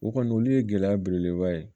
O kɔni olu ye gɛlɛya belebeleba ye